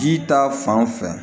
Ji ta fan fɛ